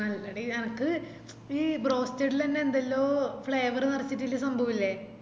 നല്ല ടെ എനക്ക് ഈ broasted ലെന്നെ എന്തെല്ലോ flavour നേരച്ചിട്ടില്ല സംഭവില്ലേ